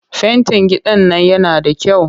Fentin gidan nan yana da kyau